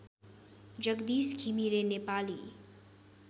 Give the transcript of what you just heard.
Jagdish Ghimire Nepali